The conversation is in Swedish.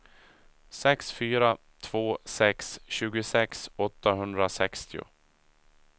sex fyra två sex tjugosex åttahundrasextio